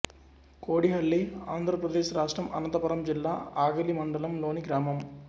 కోడిహళ్ళి ఆంధ్ర ప్రదేశ్ రాష్ట్రం అనంతపురం జిల్లా అగలి మండలం లోని గ్రామం